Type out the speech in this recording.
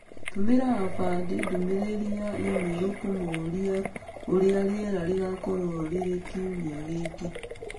Tũmĩra Abadi ndũmĩrĩri ya e-mail ũkĩmũũria ũrĩa rĩera rĩgaakorwo rĩrĩ kiumia gĩkĩ